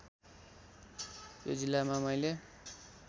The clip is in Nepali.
यो जिल्लामा मैले